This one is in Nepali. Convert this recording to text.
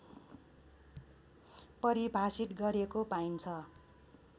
परिभाषित गरेको पाइन्छ